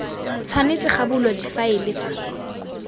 tshwanetse ga bulwa difaele fa